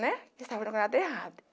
né. Estava errado.